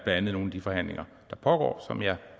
andet nogle af de forhandlinger der pågår som jeg